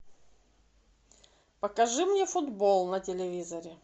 покажи мне футбол на телевизоре